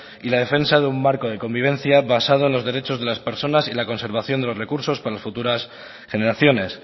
y la defensa de un marco de convivencia basado en los derechos de las personas y la conservación de los recursos para las futuras generaciones